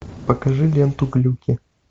покажи ленту глюки